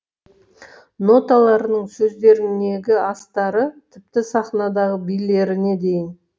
ноталарының сөздерінегі астары тіпті сахнадағы билеріне дейін